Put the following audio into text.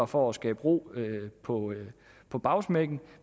for at skabe ro på på bagsmækken